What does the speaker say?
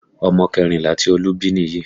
Ọmọ kẹrìnlá tí Olú bí nìyí